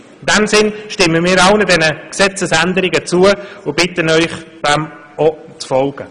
In diesem Sinne stimmen wir allen vorgeschlagenen Gesetzesänderungen zu und bitten Sie, dem zu folgen.